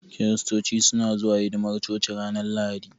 Kiristoci suna zuwa hidimar coci ranar Lahadi.